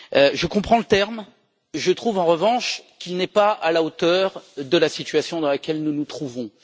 Je comprends le terme, mais je trouve, en revanche, qu'il n'est pas à la hauteur de la situation dans laquelle nous nous trouvons.